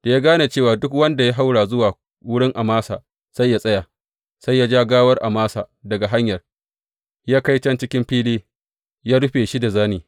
Da ya gane cewa duk wanda ya haura zuwa wurin Amasa sai ya tsaya, sai ya ja gawar Amasa daga hanyar ya kai can cikin wani fili ya rufe shi da zane.